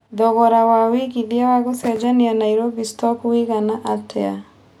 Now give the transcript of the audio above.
thogora wa wĩigĩthĩa wa gũcenjia Nairobi stock wĩgana atĩa